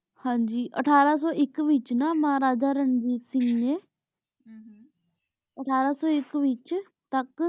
ਹਾਂਜੀ ਅਠਾਰਾਂ ਸੂ ਏਇਕ ਵਿਚ ਨਾ ਮਹਾਰਾਜਾ ਰਣਵੀਰ ਸਿੰਘ ਨੇ ਅਠਾਰਾਂ ਸੂ ਏਇਕ ਵਿਚ ਤਲਹਟ